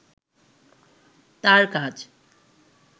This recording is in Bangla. তার কাজ